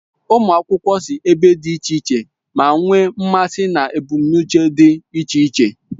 Ụmụ akwụkwọ si ebe dị iche iche, ma nwee mmasị na ebumnuche dị iche iche.